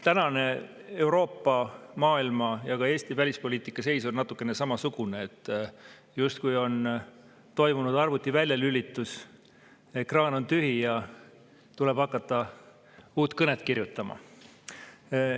Praegune Euroopa, maailma ja ka Eesti välispoliitika seis on natukene samasugune, et on toimunud justkui arvuti väljalülitus, ekraan on tühi ja tuleb hakata uut kõnet kirjutama.